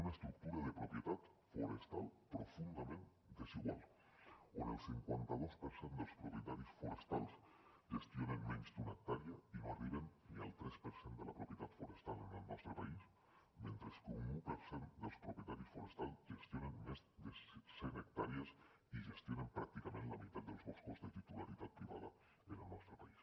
una estructura de propietat forestal profundament desigual on el cinquanta dos per cent dels propietaris forestals gestionen menys d’una hectàrea i no arriben ni al tres per cent de la propietat forestal en el nostre país mentre que un un per cent dels propietaris forestals gestionen més de cent hectàrees i gestionen pràcticament la meitat dels boscos de titularitat privada en el nostre país